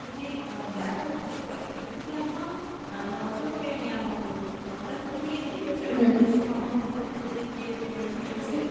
যদি আহ দেখো দৃশ্য টা সেটা কিন্তু একদম আহ নজর কেড়ে নেওয়ার মত, আহ তা তুমি কী দেখেছো এরকম দৃশ্য কখনো কোথাও ঘুড়তে গিয়ে আহ village এ?